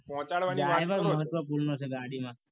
પહોંચાડવાની વાત તો